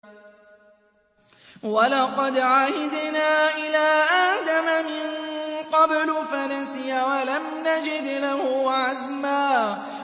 وَلَقَدْ عَهِدْنَا إِلَىٰ آدَمَ مِن قَبْلُ فَنَسِيَ وَلَمْ نَجِدْ لَهُ عَزْمًا